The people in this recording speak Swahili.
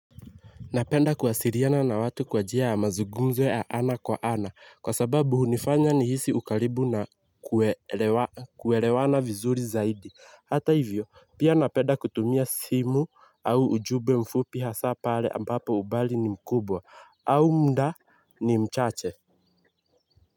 Napenda kuwasiliana na watu kwa jia ya mazugumzo ya ana kwa ana kwa sababu hunifanya nihisi ukaribu na kuelewana vizuri zaidi. Hata hivyo pia napenda kutumia simu au ujumbe mfupi hasa pale ambapo umbali ni mkubwa au muda ni mchache.